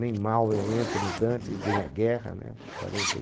Nem mal eu entro no Dante, e vem a guerra né? Quarenta e